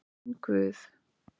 Minn Guð.